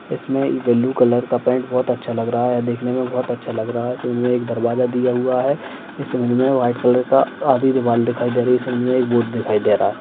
इसमें ये blue colour का पैंट बोहोत अच्छा लग रहा हैं देखने मे बोहोत अच्छा लग रहा हैं इसमे एक दरवाजा दिया हुआ हैं इस इमेज मे व्हाइट कलर का आधी दिवाल दिखाई दे रही हैं इस इमेज मे एक बोर्ड दिखाई दे रहा हैं।